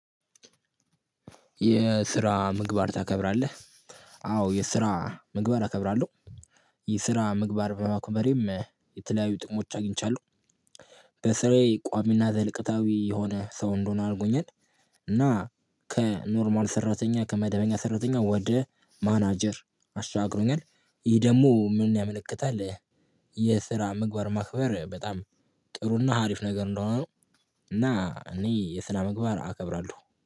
የስራ ምግባር ታከብራለህ? አዎ የስራ ምግባር አከብራለሁ። የስራ ምግባር በማክበሬም የተለያዩ ጥቅሞች አግኝቻለሁ በስራዬ ቋሚና ዘልቀታዊ የሆነ ሰው እንደሆነ አርጎኛል። እና ከኖርማል ሰራተኛ ከመደበኛ ሰራተኛ ወደ ማናጀር አሸጋግሮኛል። ይሄ ደግሞ ምን ያመለክታል? የስራ ምግባር ማክበር በጣም ጥሩና አሪፍ ነገር እንደሆነ ነው። እና እኔ የስና መግባር አከብራለሁ